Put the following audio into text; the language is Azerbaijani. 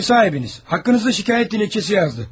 Ev sahibiniz haqqınızda şikayət dilekçesi yazdı.